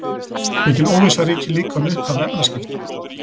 Mikil óvissa ríkir líka um upphaf efnaskipta.